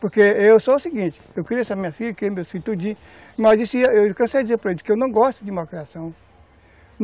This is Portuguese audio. Porque eu sou o seguinte, eu criei essa minha filha, criei meu filho tudinho, mas eu cansei de dizer para eles, que eu não gosto de mal criação.